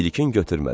İlkin götürmədi.